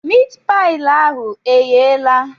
Miit paị ahụ egheela?